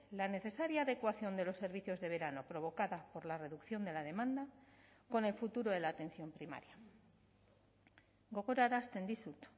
la necesaria adecuación de los servicios de verano provocada por la reducción de la demanda con el futuro de la atención primaria gogorarazten dizut